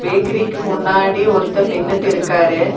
பேக்கிரிக்கு முன்னாடி ஒருத்தர் நின்னுட்டு இருக்காரு.